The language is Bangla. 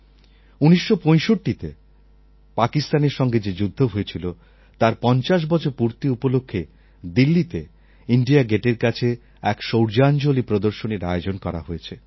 ১৯৬৫তে পাকিস্তানের সঙ্গে যে যুদ্ধ হয়েছিল তার ৫০ বছর পূর্তি উপলক্ষে দিল্লিতে ইণ্ডিয়ান গেটের কাছে এক শৌর্যাঞ্জলী প্রদর্শনীর আয়োজন করা হয়েছে